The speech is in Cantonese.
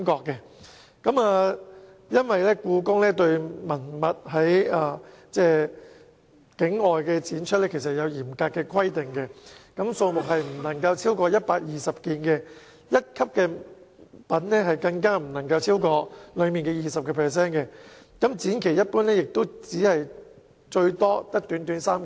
故宮文物在境外展出有嚴格規定，數目不能超過120件，一級品更不能超過展品的 20%， 展期一般只有短短3個月。